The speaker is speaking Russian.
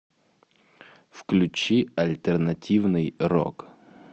включи альтернативный рок